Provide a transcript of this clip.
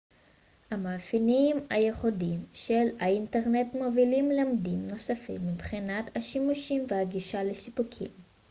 המאפיינים הייחודיים של האינטרנט מובילים לממדים נוספים מבחינת השימושים והגישה לסיפוקים